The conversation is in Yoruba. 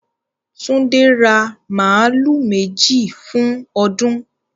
Túndé ra màálù méjì fún ọdún.